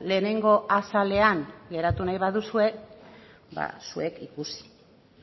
lehenengo azalean geratu nahi baduzue ba zuek ikusi